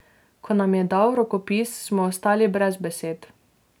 Ko nam je dal rokopis, smo ostali brez besed.